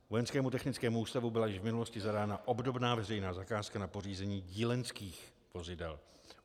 Vojenskému technickému ústavu byla již v minulosti zadána obdobná veřejná zakázka na pořízení dílenských vozidel.